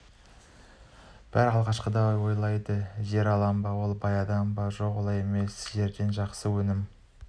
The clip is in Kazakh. бәрі алғашқыда ойлады жер алды ма ол бай адам деп жоқ олай емес жерден жақсы өнім